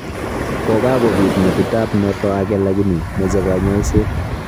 Kokakobiit metit ab noto ake lakini meche kanyaiset